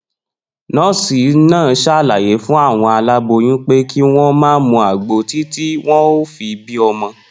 Nó̩ò̩sì náà s̩àlàyé fún àwo̩n aláboyún pé kí wó̩n má mu àgbo títí wo̩n óò fi bímo̩